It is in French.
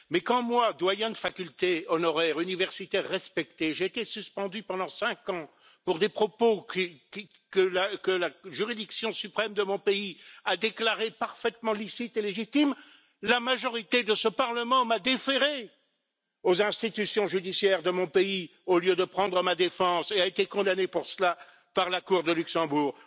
Mais quand moi, doyen de faculté honoraire, universitaire respecté, j'ai été suspendu pendant cinq ans pour des propos que la juridiction suprême de mon pays a déclarés parfaitement licites et légitimes, la majorité de ce Parlement m'a déféré aux institutions judiciaires de mon pays, au lieu de prendre ma défense, et a été condamnée pour cela par la Cour de Luxembourg.